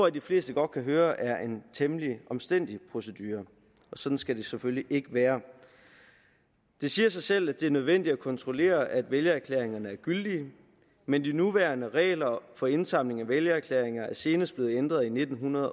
at de fleste godt kan høre er en temmelig omstændelig procedure og sådan skal det selvfølgelig ikke være det siger sig selv at det er nødvendigt at kontrollere at vælgererklæringerne er gyldige men de nuværende regler for indsamling af vælgererklæringer er senest blevet ændret i nitten